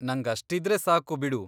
ನಂಗಷ್ಟಿದ್ರೆ ಸಾಕು ಬಿಡು.